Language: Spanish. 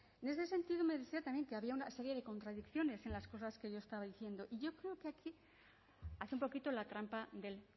en este sentido me decía también que había una serie de contradicciones en las cosas que yo estaba diciendo yo creo que aquí hace un poquito la trampa del